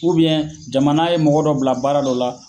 U jamana ye mɔgɔ dɔ bila baara dɔ la.